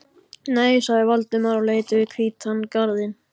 Nei sagði Valdimar og leit yfir hvítan garðinn.